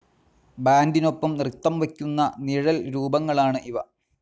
ബാൻഡിനൊപ്പം നൃത്തം വയ്ക്കുന്ന നിഴൽരൂപങ്ങളാണ് ഇവ.